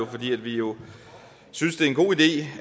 fordi vi jo synes det er en god idé